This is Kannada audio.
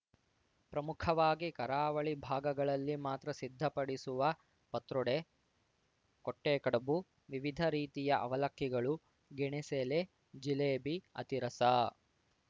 ಪ್ರಮುಖವಾಗಿ ಕರಾವಳಿ ಭಾಗಗಳಲ್ಲಿ ಮಾತ್ರ ಸಿದ್ಧಪಡಿಸುವ ಪತ್ರೋಡೆ ಕೊಟ್ಟೆಕಡುಬು ವಿವಿಧ ರೀತಿಯ ಅವಲಕ್ಕಿಗಳು ಗೆಣೆಸೆಲೆ ಜಿಲೇಬಿ ಅತಿರಸ